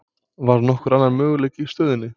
Var nokkur annar möguleiki í stöðunni?